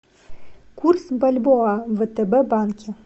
курс бальбоа в втб банке